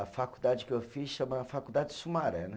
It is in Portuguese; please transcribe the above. A faculdade que eu fiz chama Faculdade Sumaré, né?